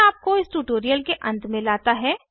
यह आपको इस ट्यूटोरियल के अंत में लाता है